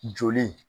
Joli